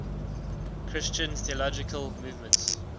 christian theological movements